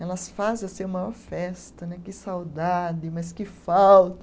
Elas fazem assim a maior festa né, que saudade, mas que falta.